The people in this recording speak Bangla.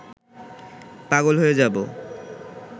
পাগল হয়ে যাব